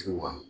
Ciw ma